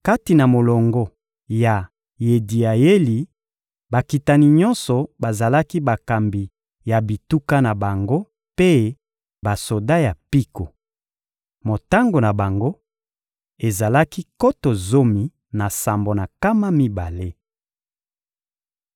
Kati na molongo ya Yediayeli, bakitani nyonso bazalaki bakambi ya bituka na bango mpe basoda ya mpiko. Motango na bango ezalaki nkoto zomi na sambo na nkama mibale.